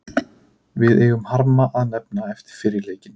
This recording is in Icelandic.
Við eigum harma að hefna eftir fyrri leikinn.